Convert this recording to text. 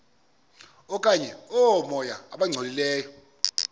okanye oomoya abangcolileyo